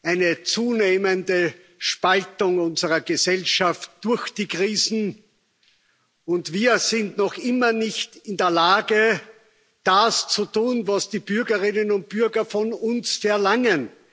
Eine zunehmende Spaltung unserer Gesellschaft durch die Krisen, und wir sind noch immer nicht in der Lage, das zu tun, was die Bürgerinnen und Bürger von uns verlangen.